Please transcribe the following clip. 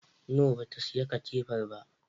No, ta siyi katifar ba